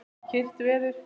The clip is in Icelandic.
Kyrrt veður.